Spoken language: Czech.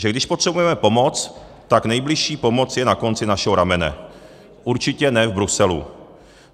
Že když potřebujeme pomoc, tak nejbližší pomoc je na konci našeho ramene, určitě ne v Bruselu.